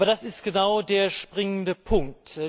Aber das ist genau der springende Punkt.